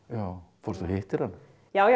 fórstu og hittir hana já já